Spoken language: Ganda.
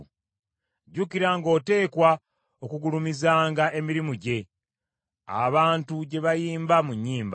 Jjukira ng’oteekwa okugulumizanga emirimu gye, abantu gye bayimba mu nnyimba.